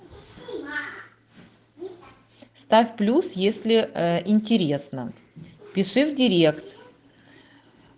ставь плюс если ээ интересно пиши в директ